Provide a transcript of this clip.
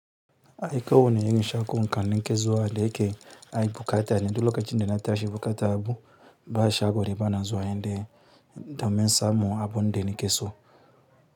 Ai koh wane irin shago ka nake zuwa da yake ai buƙata, duk lokacin da na tashi buƙata bu ba shago da bana zuwa nde domin samun abun da naki so.